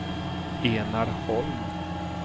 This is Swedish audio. Enar Holm